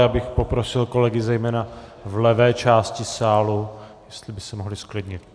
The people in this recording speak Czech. Já bych poprosil kolegy zejména v levé části sálu, jestli by se mohli zklidnit.